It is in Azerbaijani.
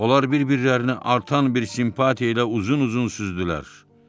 Onlar bir-birlərini artan bir simpatiya ilə uzun-uzun süzdülər.